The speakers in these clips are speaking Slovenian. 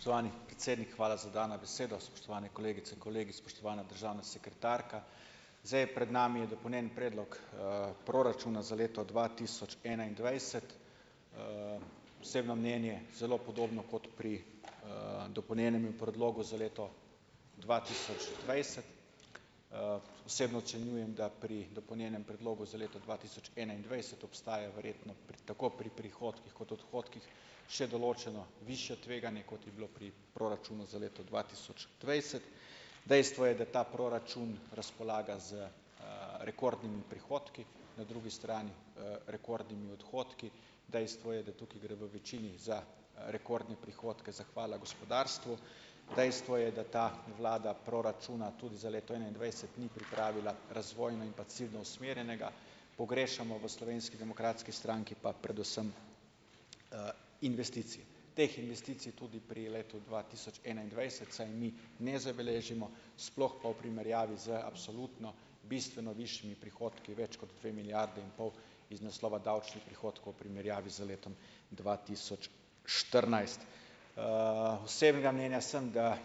Spoštovani predsednik, hvala za dano besedo, spoštovane kolegice in kolegi, spoštovana državna sekretarka, zdaj je pred nami je dopolnjen predlog, proračuna za leto dva tisoč enaindvajset, osebno mnenje zelo podobno kot pri, dopolnjenemu predlogu za leto dva tisoč dvajset, osebno ocenjujem, da pri dopolnjenem predlogu za leto dva tisoč enaindvajset obstajajo verjetno pri tako pri prihodkih kot odhodkih še določeno višje tveganje, kot je bilo pri proračunu za leto dva tisoč dvajset, dejstvo je, da ta proračun razpolaga z, rekordnimi prihodki na drugi strani, rekordnimi odhodki, dejstvo je, da tukaj gre v večini za rekordne prihodke zahvala gospodarstvu, dejstvo je, da ta vlada proračuna tudi za leto enaindvajset ni pripravila razvojno in pa ciljno usmerjenega, pogrešamo v Slovenski demokratski stranki pa predvsem, investicije, teh investicij tudi pri letu dva tisoč enaindvajset vsaj mi ne zabeležimo, sploh pa v primerjavi z absolutno bistveno višjimi prihodki več kot dve milijardi in pol iz naslova davčnih prihodkov v primerjavi z letom dva tisoč štirinajst, osebnega mnenja sem, da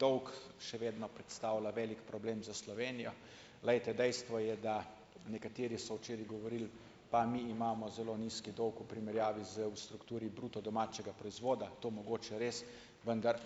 dolg še vedno predstavlja velik problem za Slovenijo, glejte, dejstvo je, da nekateri so včeraj govorili: "Pa mi imamo zelo nizek dolg v primerjavi z v strukturi bruto domačega proizvoda." To mogoče res, vndar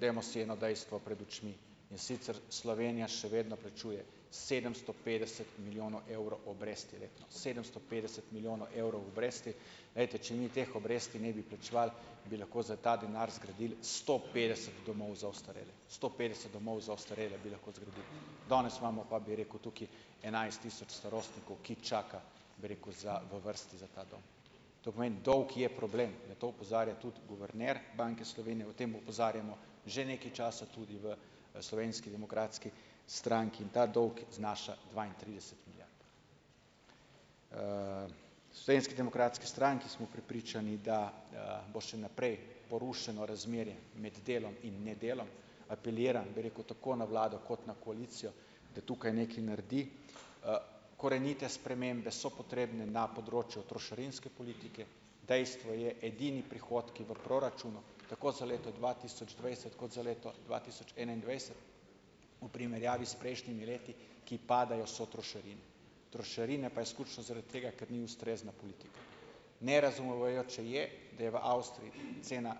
dajmo si eno dejstvo pred očmi, in sicer Slovenija še vedno plačuje sedemsto petdeset milijonov evrov obresti letno sedemsto petdeset milijonov evrov obresti, glejte, če mi teh obresti ne bi plačevali, bi lahko za ta denar zgradili sto petdeset domov za ostarele, sto petdeset domov za ostarele bi lahko zgradili, danes imamo, pa bi rekel tukaj, enajst tisoč starostnikov, ki čaka, bi rekel, za v vrsti za ta dom, to pomeni, dolg je problem, na to opozarja tudi guverner Banke Slovenije, o tem opozarjamo že nekaj časa tudi v Slovenski demokratski stranki, in ta dolg znaša dvaintrideset milijard, v Slovenski demokratski stranki smo prepričani, da bo še naprej porušeno razmerje med delom in nedelom, apeliram, bi rekel, tako na vlado kot na koalicijo, da tukaj nekaj naredi, korenite spremembe so potrebne na področju trošarinske politike, dejstvo je, edini prihodki v proračunu tako za leto dva tisoč dvajset kot za leto dva tisoč enaindvajset v primerjavi s prejšnjimi leti, ki padajo, so trošarine, trošarine pa izključno zaradi tega, ker ni ustrezna politika, nerazumevajoče je, da je v Avstriji cena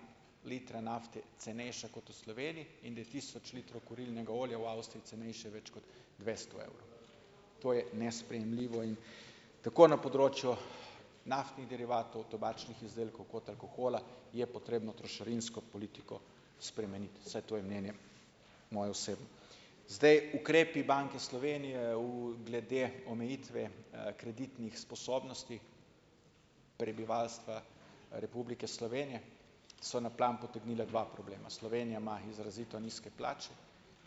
litra nafte cenejša kot v Sloveniji in da je tisoč litrov kurilnega olja v Avstriji cenejše več kot dvesto evrov, to je nesprejemljivo in tako na področju naftnih derivatov, tobačnih izdelkov kot alkohola je potrebno trošarinsko politiko spremeniti, saj to je mnenje moje osebno, zdaj ukrepi Banke Slovenije v glede omejitve kreditnih sposobnosti prebivalstva Republike Slovenije so na plan potegnili dva problema, Slovenija ima izrazito nizke plače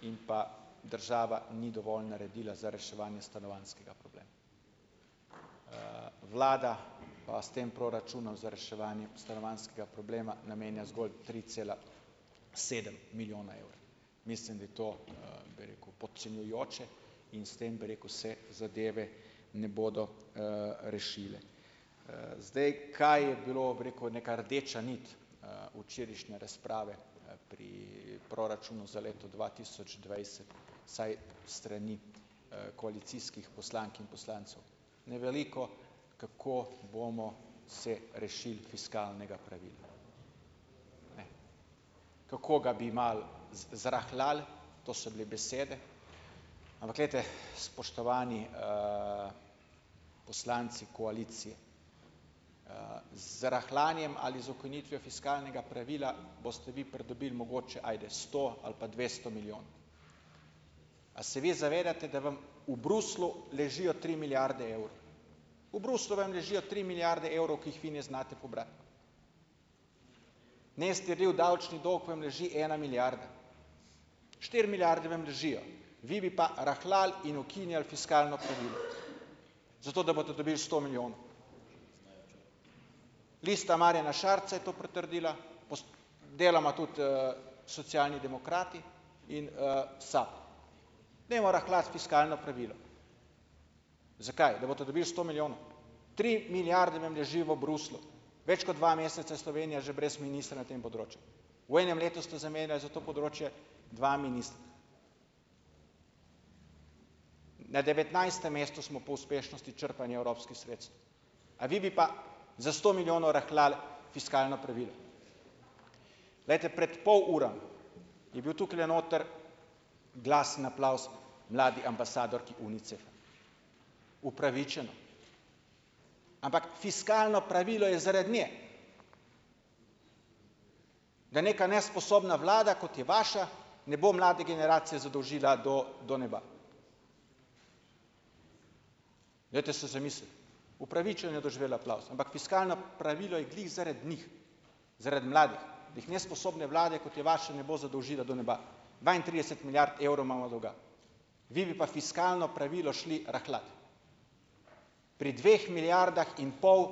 in pa država ni dovolj naredila za reševanje stanovanjskega problema, vlada pa s tem proračunom za reševanje stanovanjskega problema namenja zgolj tri cela sedem milijona evra, mislim, da je to, bi rekel podcenjujoče, in s tem, bi rekel, se zadeve ne bodo, rešile, zdaj, kaj je bilo, bi rekel, neka rdeča nit, včerajšnje razprave, pri proračunu za leto dva tisoč dvajset, saj strani, koalicijskih poslank in poslancev na veliko, kako bomo se rešili fiskalnega pravila, kako ga bi malo z zrahljali, to so bile besede, ampak glejte, spoštovani, poslanci koalicije, z rahljanjem ali z ukinitvijo fiskalnega pravila boste bi pridobili mogoče sto ali pa dvesto milijonov, a se vi zavedate, da vam v Bruslju ležijo tri milijarde evrov, v Bruslju vam ležijo tri milijarde evrov, ki jih vi ne znate pobrati, niste vi, v davčni dolg vam leži ena milijarda, štiri milijarde vam ležijo, vi bi pa rahljali in ukinjali fiskalno pravilo, zato da boste dobili sto milijonov. Lista Marjana Šarca je to potrdila deloma tudi, Socialni demokrati in, SAB, dajmo rahljati fiskalno pravilo. Zakaj? Da boste dobili sto milijonov. Tri milijarde vam ležijo v Bruslju, več kot dva meseca Slovenija že brez ministra na tem področju, v enem letu ste zamenjali za to področje, dva ministra, na devetnajstem mestu smo po uspešnosti črpanja evropskih sredstev, a vi bi pa za sto milijonov rahljali fiskalno pravilo, glejte, pred pol ure je bil tukajle noter glasen aplavz mladi ambasadorki Unicefa, upravičeno, ampak fiskalno pravilo je zaradi nje, da neka nesposobna vlada, kot je vaša, ne bo mlade generacije zadolžila do do neba, dajte se zamisliti, upravičeno je doživela aplavz, ampak fiskalno pravilo je glih zaradi njih, zaradi mladih, da jih nesposobne vlade, kot je vaša, ne bo zadolžila do neba, dvaintrideset milijard evrov imamo dolga, vi bi pa fiskalno pravilo šli rahljat pri dveh milijardah in pol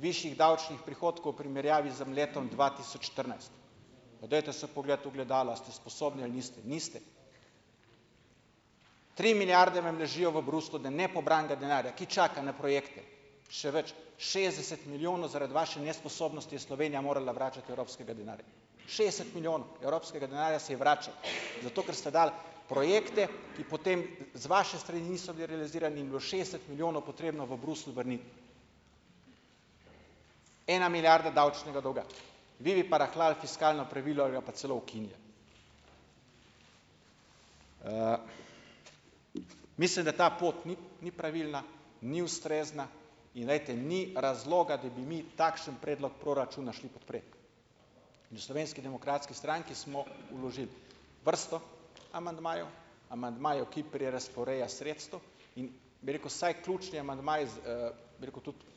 višjih davčnih prihodkov primerjavi z letom dva tisoč štirinajst, pa dajte se pogledati v ogledalo, a ste sposobni ali niste. Niste. Tri milijarde vam ležijo v Bruslju, da nepobranega denarja, ki čaka na projekte, še več, šestdeset milijonov, zaradi vaše nesposobnosti je Slovenija morala vračati evropskega denarja, šestdeset milijonov evropskega denarja se je vračalo, zato ker ste dali projekte, ki potem z vaše strani niso bili realizirani in je bilo šestdeset milijonov potrebno Bruslju vrniti. Ena milijarda davčnega dolga, vi bi pa rahljali fiskalno pravilo ali ga pa celo ukinjali, mislim, da ta pot ni, ni pravilna, ni ustrezna, in glejte, ni razloga, da bi mi takšen predlog proračuna šli podpret, v Slovenski demokratski stranki smo vložili vrsto amandmajev, amandmajev, ki prerazporejajo sredstva, in bi rekel vsaj ključni amandmaji z, bi rekel tudi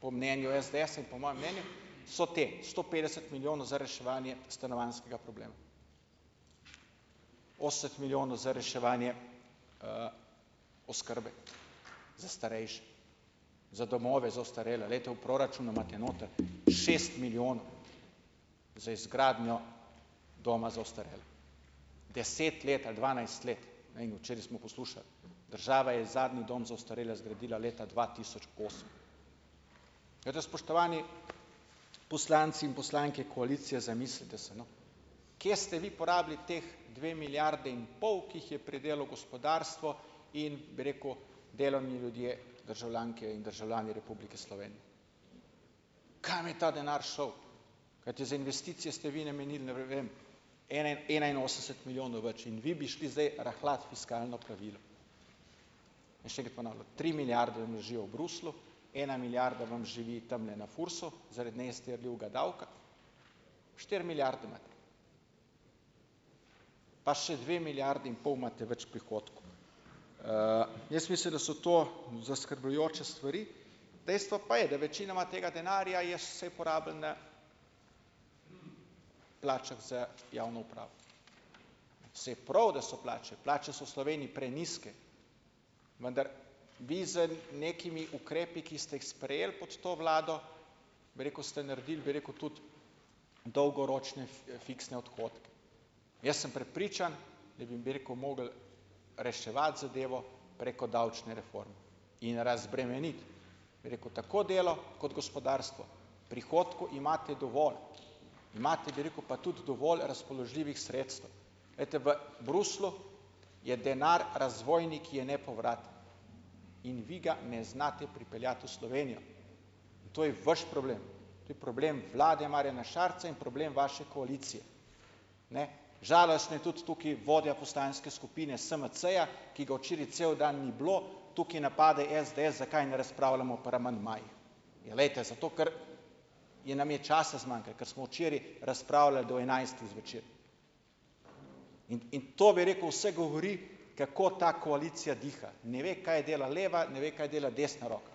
po mnenju SDS-a in po mojem mnenju so ti sto petdeset milijonov za reševanje stanovanjskega problema. ost milijonov za reševanje, oskrbe za starejše, za domove za ostarele, glejte, v proračunu imate noter šest milijonov za izgradnjo doma za ostarele, deset let ali dvanajst let, no, in včeraj smo poslušali, država je zadnji dom za ostarele zgradila leta dva tisoč osem. Spoštovani poslanki in poslanke koalicije, zamislite se, no, kje ste vi porabili ti dve milijarde in pol, ki jih je pridelalo gospodarstvo in, bi rekel, delovni ljudje, državljanke in državljani Republike Slovenije. Kam je ta denar šel? Kajti za investicije ste vi namenili, ne vem, ena enainosemdeset milijonov več in vi bi šli zdaj rahljat fiskalno pravilo, še enkrat ponavljam, tri milijarde vam ležijo v Bruslju, ena milijarda vam živi tamle na FURS-u, zaradi nje ste je bivga davka štiri milijarde imate pa še dve milijardi in pol imate več prihodkov, jaz mislim, da so to zaskrbljujoče stvari, dejstvo pa je, da večinoma tega denarja je vsaj porabljena plačah za javno upravo, saj prav, da so plače, plače so v Sloveniji prenizke, vendar vi z nekimi ukrepi, ki ste jih sprejeli pod to vlado, bi rekel, ste naredili, bi rekel, tudi dolgoročne fiksne odhodke, jaz sem prepričan, da vam, bi rekel, mogli reševati zadevo preko davčne reforme in razbremeniti, bi rekel, tako delo kot gospodarstvo, prihodkov imate dovolj, imate, bi rekel, pa tudi dovolj razpoložljivih sredstev, glejte, v Bruslju je denar razvojni, ki je nepovraten, in vi ga ne znate pripeljati v Slovenijo, to je vaš problem, to je problem vlade Marjana Šarca in problem vaše koalicije, ne, žalostno je tudi tukaj vodja poslanske skupine SMC-ja ki ga včeraj cel dan ni bilo, tukaj napade SDS, zakaj ne razpravljamo v pri amandmaju, ja, glejte zato, ker ja nam je časa zmanjkalo, ko smo včeraj razpravljali do enajstih zvečer, in in to, bi rekel, vse govori, kako ta koalicija diha, ne ve, kaj dela leva, ne ve, kaj dela desna roka,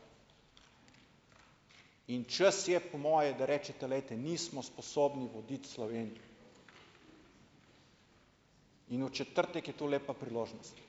in čas je po moje, da rečete: "Glejte, nismo sposobni voditi Slovenije." In v četrtek je tu lepa priložnost.